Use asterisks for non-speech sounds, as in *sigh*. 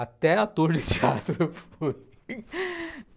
Até *laughs* ator de teatro eu fui.